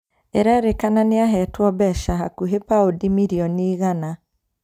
Ererĩkana nĩahetwe mbeca hakuhĩ paundi mirioni igana